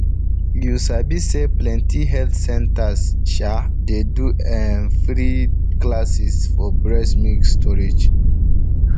you sabi say plenty health centers um dey do ehm free um classes for breast milk storage